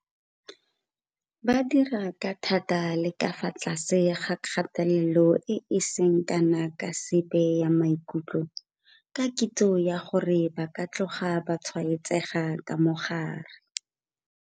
Ba dira ka thata le ka fa tlase ga kgatelelo e e seng kana ka sepe ya maikutlo ka kitso ya gore ba ka tloga ba tshwaetsega ka mogare.